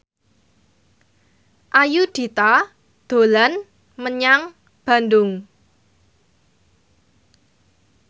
Ayudhita dolan menyang Bandung